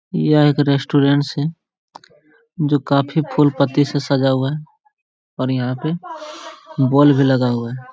यह एक रेस्टोरेंट है जो काफी फूल-पत्ती से सजा हुआ है और यहाँ पे बॉल भी लगा हुआ है।